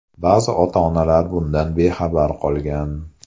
Ba’zi ota-onalar bundan bexabar qolgan.